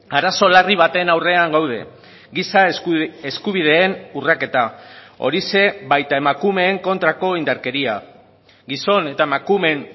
arazo larri baten aurrean gaude giza eskubideen urraketa horixe baita emakumeen kontrako indarkeria gizon eta emakumeen